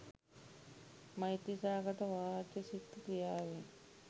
මෛත්‍රී සහගත වාචසික ක්‍රියාවෙන්